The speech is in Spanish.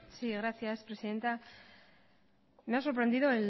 sí gracias señora presidenta me ha sorprendida